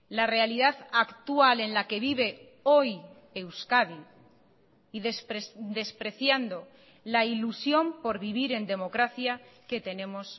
la realidad actual en la que vive hoy euskadi y despreciando la ilusión por vivir en democracia que tenemos